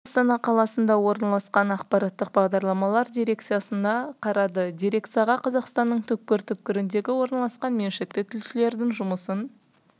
қосыны астана қаласында орналасқан ақпараттық бағдарламалар дирекциясына қарады дирекцияға қазақстанның түкпір-түкпірінде орналасқан меншікті тілшілердің жұмысын